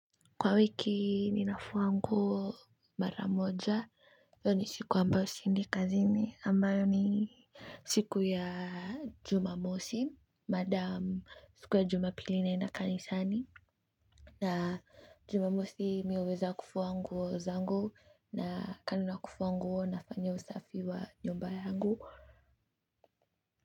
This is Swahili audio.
Kwa wiki ninafua nguo maramoja hiyo ni siku ambayo siendi kazini ambayo ni siku ya Jumamosi maadam siku ya Jumapili naenda kanisani na Jumamosi mimi huweza kufua nguo zangu na kando na kufua nguo nafanya usafi wa nyumba yangu.